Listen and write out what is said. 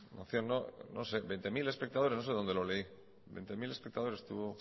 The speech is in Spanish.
moción no sé veinte mil espectadores no sé dónde lo leí veinte mil espectadores tuvo